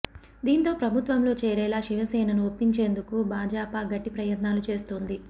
దీంతో ప్రభుత్వంలో చేరేలా శివసేనను ఒప్పించేందుకు భాజపా గట్టి ప్రయత్నాలు చేస్తోంది